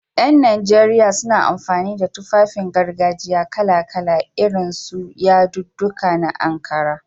Ƴan najeriya suna amfani da Tufafin gargajiya kala-kala, irin su yadudduka na Ankara.